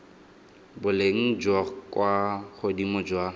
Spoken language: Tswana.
boleng jwa kwa godimo jwa